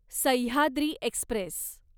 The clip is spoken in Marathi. सह्याद्री एक्स्प्रेस